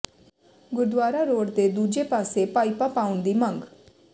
Gurdwara road ਦੇ ਦੂਜੇ ਪਾਸੇ ਪਾਈਪਾਂ ਪਾਉਣ ਦੀ ਮੰਗ